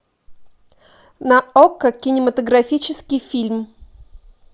на окко кинематографический фильм